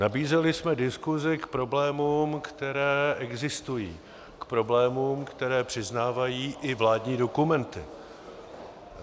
Nabízeli jsme diskuzi k problémům, které existují, k problémům, které přiznávají i vládní dokumenty.